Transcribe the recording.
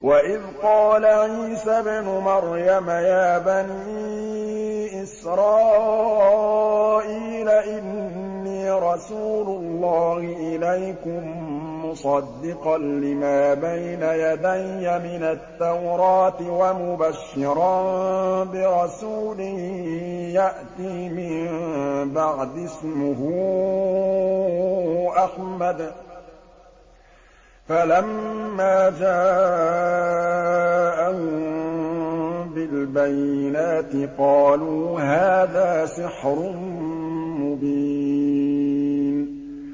وَإِذْ قَالَ عِيسَى ابْنُ مَرْيَمَ يَا بَنِي إِسْرَائِيلَ إِنِّي رَسُولُ اللَّهِ إِلَيْكُم مُّصَدِّقًا لِّمَا بَيْنَ يَدَيَّ مِنَ التَّوْرَاةِ وَمُبَشِّرًا بِرَسُولٍ يَأْتِي مِن بَعْدِي اسْمُهُ أَحْمَدُ ۖ فَلَمَّا جَاءَهُم بِالْبَيِّنَاتِ قَالُوا هَٰذَا سِحْرٌ مُّبِينٌ